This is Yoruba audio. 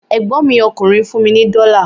Ẹ̀gbọ́n mi ọkùnrin fún mi ní dọ́la